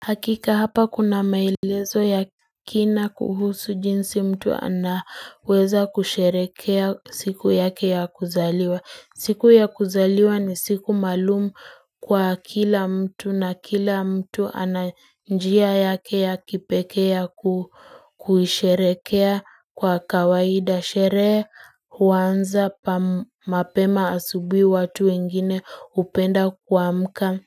Hakika hapa kuna maelezo ya kina kuhusu jinsi mtu anaweza kusherekea siku yake ya kuzaliwa. Siku ya kuzaliwa ni siku maalumu kwa kila mtu na kila mtu ananjia yake ya kipekea kuhisherekea kwa kawaida. Sherehe huanza mapema asubi watu wengine upenda kwa mka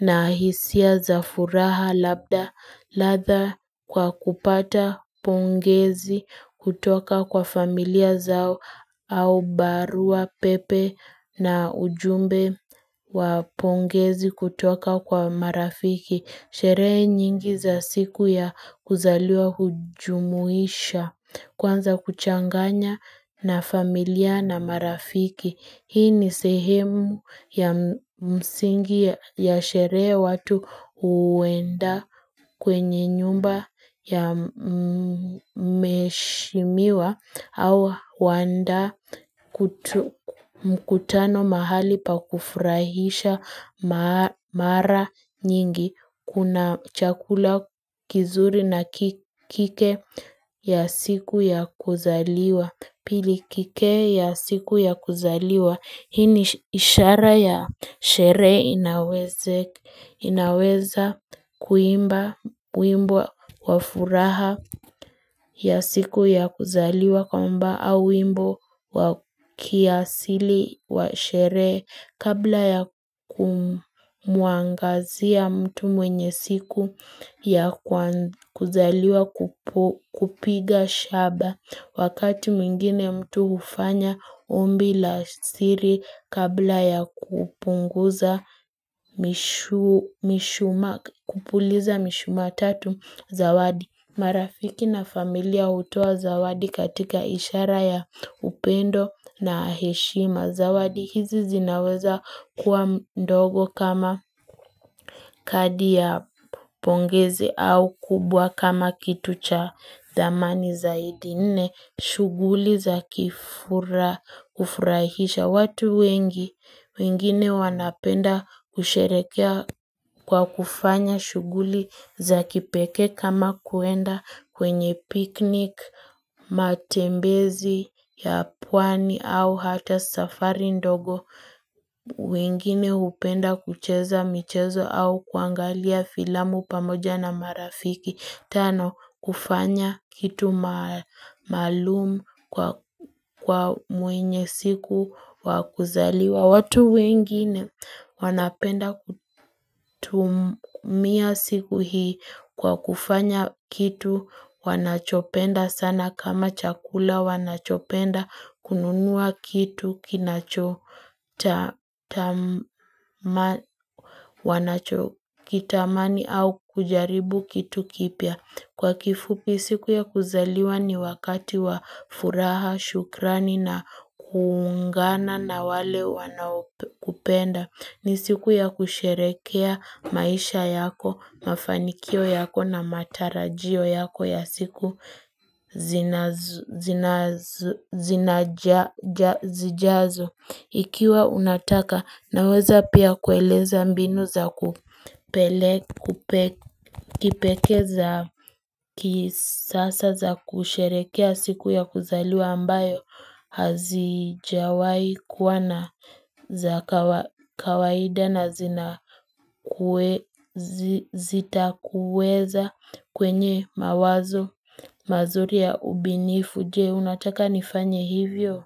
na ahisia za furaha labda latha kwa kupata pongezi kutoka kwa familia zao au barua pepe na ujumbe wa pongezi kutoka kwa marafiki. Sheree nyingi za siku ya kuzaliwa hujumuisha kwanza kuchanganya na familia na marafiki. Hii ni sehemu ya msingi ya sherea watu uenda kwenye nyumba ya mheshimiwa au waenda mkutano mahali pa kufurahisha mara nyingi. Kuna chakula kizuri na kike ya siku ya kuzaliwa. Pili kike ya siku ya kuzaliwa, hii ni ishara ya sherehe inaweza kuimba wimbo wafuraha ya siku ya kuzaliwa kwamba au wimbo kiasili wa shere kabla ya kumuangazia mtu mwenye siku ya kuzaliwa kupiga shaba Wakati mwingine mtu ufanya ombi la siri kabla ya kupunguza mishuma, kupuliza mishuma tatu zawadi. Marafiki na familia utowa zawadi katika ishara ya upendo na heshima zawadi. Hizi zinaweza kuwa ndogo kama kadi ya pongezi au kubwa kama kitu cha zamani zaidi nne shughuli za kifura kufurahisha. Ya watu wengi, wengine wanapenda kusherekea kwa kufanya shuguli za kipeke kama kuenda kwenye piknik, matembezi ya puani au hata safari ndogo. Wengine upenda kucheza michezo au kuangalia filamu pamoja na marafiki. Tano, kufanya kitu malumu kwa muenye siku wakuzaliwa watu wengine wanapenda kutumia siku hii kwa kufanya kitu wanachopenda sana kama chakula wanachopenda kununua kitu kinachotamani wanachokitamani au kujaribu kitu kipya. Kwa kifupi siku ya kuzaliwa ni wakati wa furaha, shukrani na kuungana na wale wanakupenda ni siku ya kusherekea maisha yako, mafanikio yako na matarajio yako ya siku zinajazo Ikiwa unataka naweza pia kueleza mbinu za kupele kipeke za kisasa za kusherekea siku ya kuzaliwa ambayo hazijawai kuwana za kawaida na zina kuwa zita kuweza kwenye mawazo mazuri ya ubinifu jee unataka nifanye hivyo.